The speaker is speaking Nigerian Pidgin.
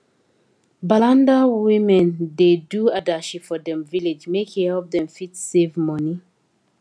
balanda women da do adashi for dem village make e help them fit save money